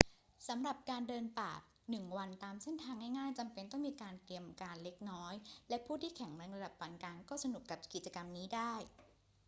สำหรับการเดินป่าหนึ่งวันตามเส้นทางง่าย ๆ จำเป็นต้องมีการเตรียมการเล็กน้อยและผู้ที่แข็งแรงระดับปานกลางก็สนุกกับกิจกรรมนี้ได้